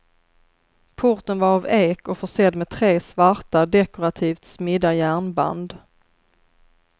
Porten var av ek och försedd med tre svarta, dekorativt smidda järnband.